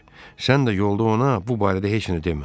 Sən də yolda ona bu barədə heç nə demə.